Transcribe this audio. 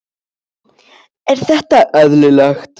Er þetta eðlilegt?